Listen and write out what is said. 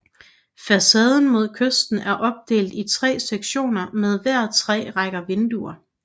Facaden mod kysten er opdelt i tre sektioner med hver tre rækker vinduer